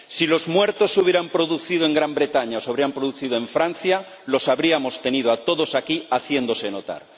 Si los muertos se hubieran producido en Gran Bretaña o se hubieran producido en Francia, los habríamos tenido a todos aquí haciéndose notar.